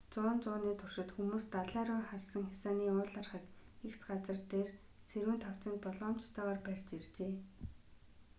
зуун зууны туршид хүмүүс далай руу харсан хясааны уулархаг эгц газар дээр сэрүүн тавцанг болгоомжтойгоор барьж иржээ